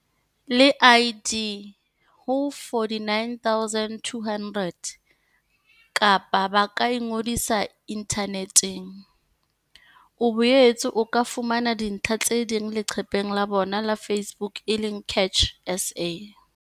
le ID ho 49200 kapa ba ka ingodisa inthaneteng. O boetse o ka fumana dintlha tse ding leqepheng la bona la Facebook e leng CACH SA.